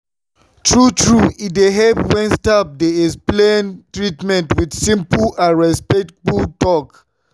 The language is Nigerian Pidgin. true-true e dey help when staff dey explain treatment with simple and respectful talk.